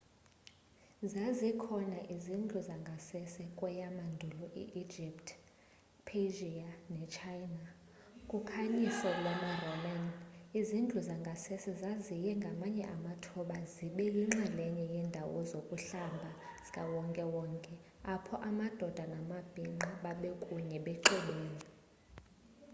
zazikhona izindlu zangasese kweyamandulo i egypt persia nechina. ku khanyiso lwama roman izindlu zangasese zaziye ngamanye amathuba zibe yinxalenye yendawo zokuhlamba zikawonke wonke apho amadoda namabhinqa babekunye bexubene